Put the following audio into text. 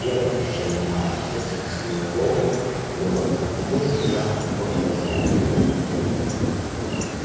первое с чем она обратилась к сноуболлу было будет ли сахар после восстания